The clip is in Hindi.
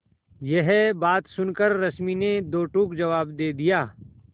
यह बात सुनकर रश्मि ने दो टूक जवाब दे दिया